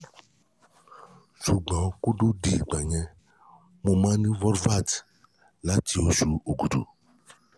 ṣùgbọ́n kó tó di ìgbà yẹn mo máa ń ní folvite láti oṣù okúdù